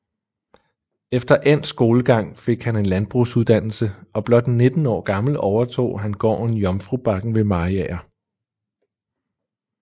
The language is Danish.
Efter endt skolegang fik han en landbrugsuddannelse og blot 19 år gammel overtog han gården Jomfrubakken ved Mariager